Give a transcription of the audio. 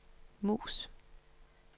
mus